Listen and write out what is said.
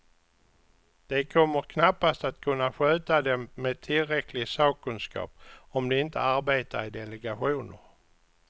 De kommer knappast att kunna sköta dem med tillräcklig sakkunskap, om de inte arbetar i delegationer.